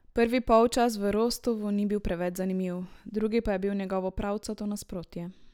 Prvi polčas v Rostovu ni bil preveč zanimiv, drugi pa je bil njegovo pravcato nasprotje.